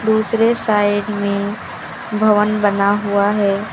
दूसरे साइड में भवन बना हुआ है।